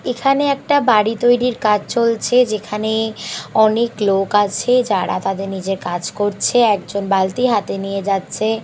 এখানে একটা বাড়ি তৈরির কাজ চলছে যেখানে অনেক লোক আছে যারা তাদের নিজের কাজ করছে একজন বালতি হাতে নিয়ে যাচ্ছে --